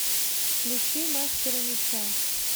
включи мастера меча